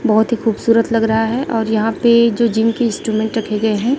बहोत ही खूबसूरत लग रहा है और यहां पे जो जिम इंस्ट्रूमेंट रखे गए हैं।